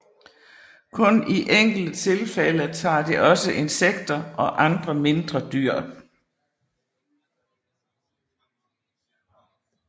Kun i enkelte tilfælde tager de også insekter og andre mindre dyr